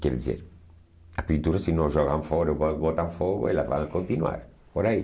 Quer dizer, as pinturas, se não jogam fora ou botam botam fogo, elas vão continuar por aí.